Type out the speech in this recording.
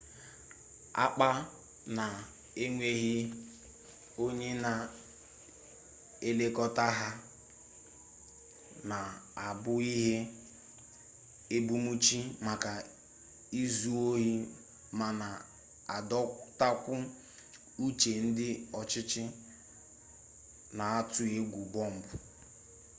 akpa na-enweghị onye na-elekọta ha na-abụ ihe ebumnuche maka izu ohi ma na-adọtakwa uche ndị ọchịchị na-atụ egwu bọmbụ